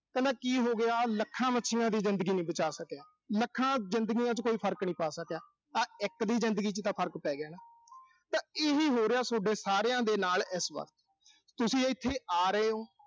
ਕਹਿੰਦਾ ਕੀ ਹੋਗਿਆ ਮੈਂ ਲੱਖਾਂ ਮੱਛੀਆਂ ਦੀ ਜ਼ਿੰਦਗੀ ਨੀਂ ਬਚਾ ਸਕਿਆ। ਲੱਖਾਂ ਜ਼ਿੰਦਗੀਆਂ ਚ ਕੋਈ ਫਰਕ ਨੀਂ ਪਾ ਸਕਿਆ। ਪਰ ਇੱਕ ਦੀ ਜ਼ਿੰਦਗੀ ਚ ਤਾਂ ਫਰਕ ਪੈ ਗਿਆ ਨਾ। ਤਾਂ ਇਹੀ ਹੋ ਰਿਹਾ, ਸੋਡੇ ਸਾਰਿਆਂ ਦੇ ਨਾਲ ਇਸ ਵਕਤ। ਤੁਸੀਂ ਇਥੇ ਆ ਰਹੇ ਓਂ।